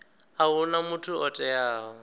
a huna muthu o teaho